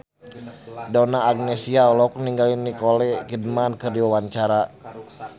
Donna Agnesia olohok ningali Nicole Kidman keur diwawancara